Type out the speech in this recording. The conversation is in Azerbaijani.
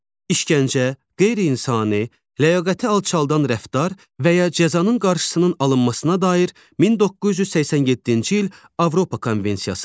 İşkəncə, qeyri-insani, ləyaqəti alçaldan rəftar və ya cəzanın qarşısının alınmasına dair 1987-ci il Avropa Konvensiyası.